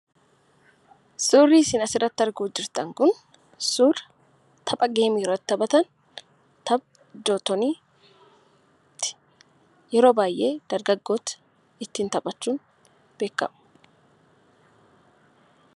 Suurri isin asiirratti arguutti jirtan kun suura tapha itti taphatan, tapha "Joottoonii" ti. Yeroo baay'ee dargaggoonni ittiin taphachuun beekamu.